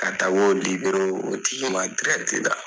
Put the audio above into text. Ka taa o o tigi ma la